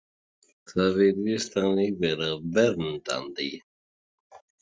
Það virðist þannig vera verndandi.